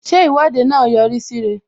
Ṣé Ìwọ́de náà yọ rí sí ire?